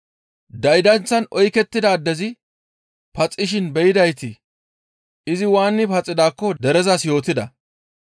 Daydanththan oykettida addezi paxishin be7idayti izi waani paxidaakko derezas yootida.